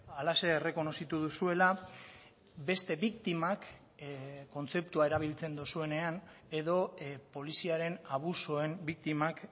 halaxe errekonozitu duzuela beste biktimak kontzeptua erabiltzen duzuenean edo poliziaren abusuen biktimak